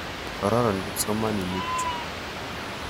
Kororon kipsomaninik chu.